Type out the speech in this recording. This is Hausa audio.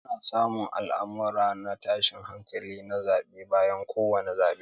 Ana samun al'amurran na tashin hankali na zabe bayan ko wani zabe.